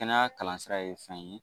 Kɛnɛya kalansira ye fɛn ye.